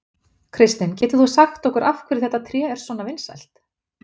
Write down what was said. Kristinn, getur þú sagt okkur af hverju þetta tré er svona vinsælt?